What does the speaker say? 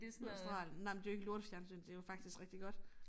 Australien nej men det jo ikke lortefjernsyn det jo faktisk rigtig godt